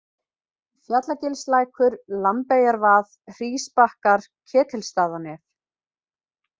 Fjalagilslækur, Lambeyjarvað, Hrísbakkar, Ketilsstaðanef